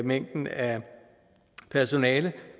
mængden af personale